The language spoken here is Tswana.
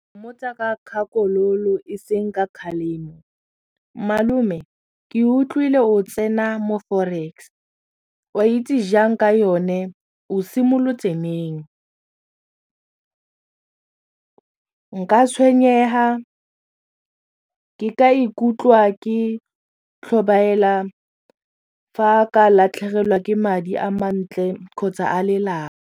Mo tsa ka kgakololo e seng ka kgalemo malome ke utlwile o tsena mo forex o itse jang ka yone o simolotse neng nka tshwenyega nka ikutlwa ke tlhobaela fa a ka latlhegelwa ke madi a mantle kgotsa a lelapa.